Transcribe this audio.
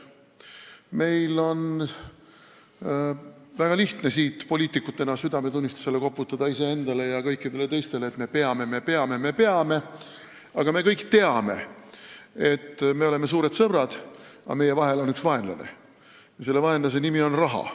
Meil on väga lihtne poliitikutena koputada iseenda ja kõikide teiste südametunnistusele, et me peame, me peame, me peame, aga me kõik teame, et me oleme küll suured sõbrad, aga meie vahel on üks vaenlane ja selle vaenlase nimi on "raha".